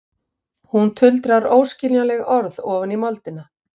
Hún tuldrar óskiljanleg orð ofan í moldina.